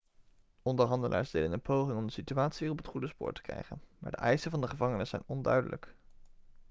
onderhandelaars deden een poging om de situatie weer op het goede spoor te krijgen maar de eisen van de gevangenen zijn onduidelijk